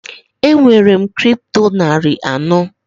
Enwere m Kripto narị anọ.